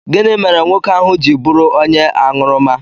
Gịnị mere nwoke ahụ ji bụrụ onye aṅụrụma?